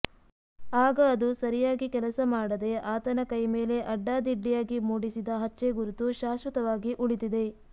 ಆಗ ಅದು ಸರಿಯಾಗಿ ಕೆಲಸ ಮಾಡದೆ ಆತನ ಕೈ ಮೇಲೆ ಅಡ್ಡಾದಿಡ್ಡಿಯಾಗಿ ಮೂಡಿಸಿದ ಹಚ್ಚೆ ಗುರುತು ಶಾಶ್ವತವಾಗಿ ಉಳಿದಿದೆ